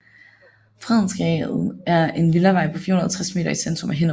Fredensgade er en villavej på 450 m i centrum af Hinnerup